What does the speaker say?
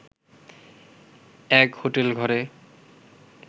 এক হোটেল ঘরে